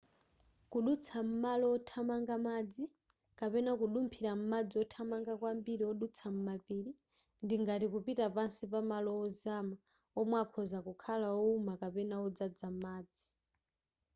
kudutsa m'malo othamanga madzi kapena: kudumphira m'madzi othamanga kwambiri odutsa m'mapiri ndi ngati kupita pansi pa malo ozama omwe akhoza kukhala owuma kapena odzadza madzi